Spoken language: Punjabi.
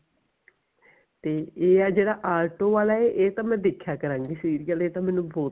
ਤੇ ਇਹ ਆ ਜਿਹੜਾ ਆਟੋ ਵਾਲਾ ਇਹ ਤਾਂ ਮੈਂ ਦੇਖਿਆ ਕਰਾਂਗੀ serial ਇਹ ਤਾਂ ਮੈਨੂੰ ਬਹੁਤ